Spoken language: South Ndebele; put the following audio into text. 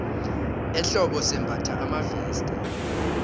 ehlobo simbatha amaveste